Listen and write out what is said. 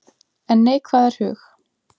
En neikvæðar hug